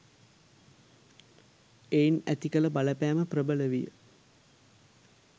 එයින් ඇති කළ බලපෑම ප්‍රබල විය